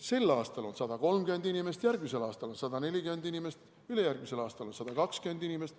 Sel aastal on 130 inimest, järgmisel aastal 140 inimest, ülejärgmisel aastal 120 inimest.